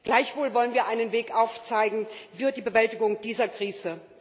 Gleichwohl wollen wir einen Weg aufzeigen für die Bewältigung dieser Krise.